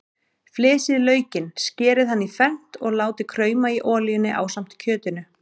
Flysjið laukinn, skerið hann í fernt og látið krauma í olíunni ásamt kjötinu.